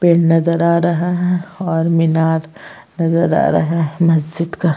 पेड़ नजर आ रहा है और मीनार नजर आ रहा है मस्जिद का।